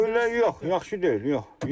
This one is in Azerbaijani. Yox, yaxşı deyil, yox.